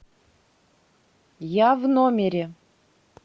я в номере